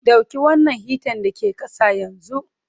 Dauki wannan hitan da ke ƙasa yanzu!